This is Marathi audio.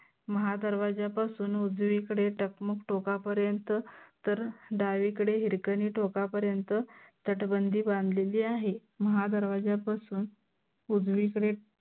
महादरवाज्यापासून उजवीकडे टकमक टोका पर्यंत तर डावीकडे हिरकनी टोका पर्यंत तटबंदी बांधलेली आहे. महादरवाज्या पासून उजवीकडे